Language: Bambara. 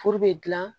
Furu bɛ dilan